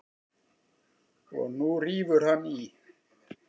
Og nú rífur hann í.